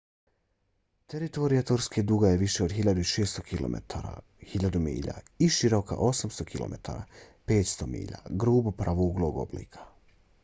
teritorija turske duga je više od 1.600 kilometara 1.000 milja i široka 800 km 500 milja grubo pravouglog oblika